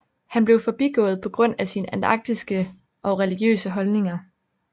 Han blev forbigået på grund af sine anarkistiske og religiøse holdninger